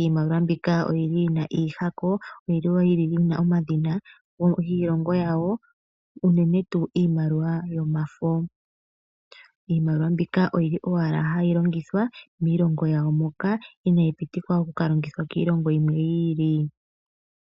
Iimaliwa mbika oyi na iihako yina omadhina giilongo yawo uunene tuu iimaliwa yomafo. Iimaliwa mbika oyi li owala hayi longithwa miilongo yawo moka inayi pitikwa oku ka longithwa kiilongo yimwe yi ili.